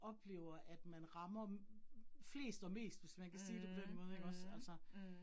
Oplever at man rammer flest og mest, hvis man kan sige det på den måde ikke også altså